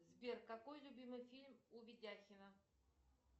сбер какой любимый фильм у видяхина